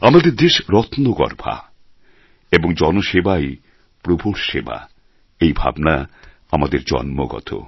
আমাদের দেশ রত্নগর্ভা এবং জনসেবাই প্রভুর সেবা এই ভাবনা আমাদের জন্মগত